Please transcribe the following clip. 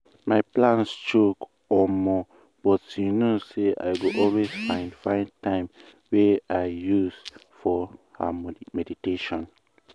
my plan choke omo!!! but you know say i go always find find time wey i use for um ah meditation.